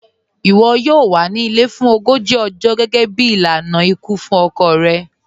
Iwọ yọọ wà ní ilẹ̀ fún ọgọ́jì ọ̀jọ̀ gẹgẹ̀bí ilànà ikú fún ọkọ̀ rẹ̀.